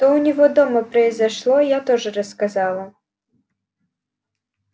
что у него дома произошло я тоже рассказала